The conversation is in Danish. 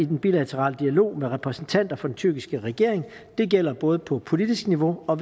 den bilaterale dialog med repræsentanter for den tyrkiske regering det gælder både kontakt på politisk niveau og